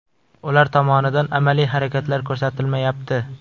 Ular tomonidan amaliy harakatlar ko‘rsatilmayapti.